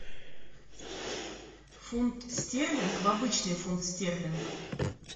фунт стерлинг в обычный фунт стерлинг